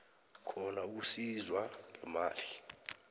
khona ukusizwa ngemali